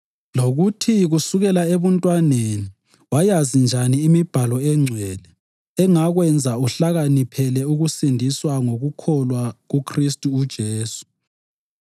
lokuthi kusukela ebuntwaneni wayazi njani imibhalo eNgcwele engakwenza uhlakaniphele ukusindiswa ngokukholwa kuKhristu uJesu.